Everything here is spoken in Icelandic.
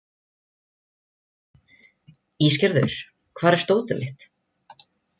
Ísgerður, hvar er dótið mitt?